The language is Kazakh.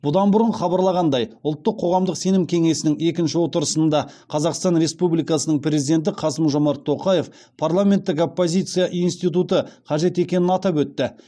бұдан бұрын хабарланғандай ұлттық қоғамдық сенім кеңесінің екінші отырысында қазақстан республикасының президенті қасым жомарт тоқаев парламенттік оппозиция институты қажет екенін атап өтті